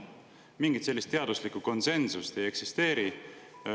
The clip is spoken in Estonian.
Mingit sellist teaduslikku konsensust ei eksisteeri.